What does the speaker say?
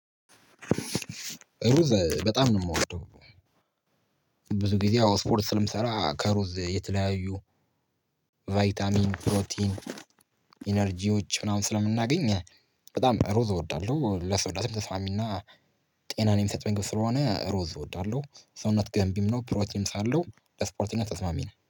ሩዝ በጣም ነው የምወደው። ብዙ ጊዜ ያው ስፖርት ስለምሰራ ከሩዝ የተለያዩ ቫይታሚን ፕሮቲን ኢነርጂዎች ምናምን ስለምናገኝ በጣም ሩዝ እወዳለሁ። ለሰውነትም ተስማሚ እና ጤናን የሚሰጠኝ ምግብ ስለሆነ ሮዝ እወዳለሁ። ሰውነት ገንቢም ነው ፕሮቲንም ሳለው ለስፖርተኛ ተስማሚ ነው